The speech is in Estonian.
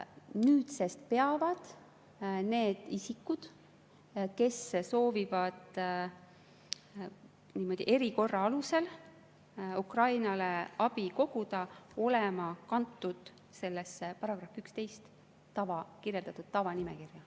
Nüüdsest peavad need isikud, kes soovivad erikorra alusel Ukrainale abi koguda, olema kantud sellesse §-s 11 tavanimekirja.